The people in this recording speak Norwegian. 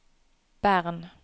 Bern